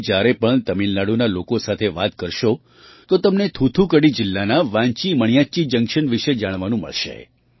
તમે જ્યારે પણ તમિલનાડુના લોકો સાથે વાત કરશો તો તમને થુથુકડી જિલ્લાના વાન્ચી મણિયાચ્ચી જંક્શન વિશે જાણવાનું મળશે